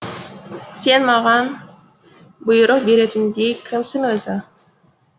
сен маған бұйрық беретіндей кімсің өзі